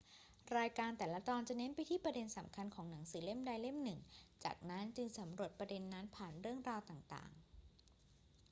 รายการแต่ละตอนจะเน้นไปที่ประเด็นสำคัญของหนังสือเล่มใดเล่มหนึ่ง จากนั้นจึงสำรวจประเด็นนั้นผ่านเรื่องราวต่าง ๆ